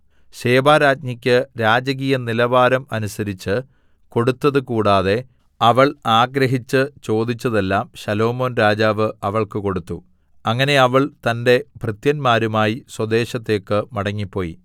ശെബാരാജ്ഞിക്ക് രാജകീയ നിലവാരം അനുസരിച്ച് കൊടുത്തതുകൂടാതെ അവൾ ആഗ്രഹിച്ച് ചോദിച്ചതെല്ലാം ശലോമോൻ രാജാവ് അവൾക്ക് കൊടുത്തു അങ്ങനെ അവൾ തന്റെ ഭൃത്യന്മാരുമായി സ്വദേശത്തേക്ക് മടങ്ങിപ്പോയി